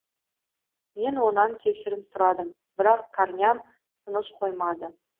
мен онан кешірім сұрадым бірақ корням тыныш қоймады